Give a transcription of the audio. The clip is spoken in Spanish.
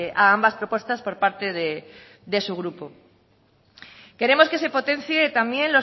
a ambas propuestas por parte de su grupo queremos que se potencie también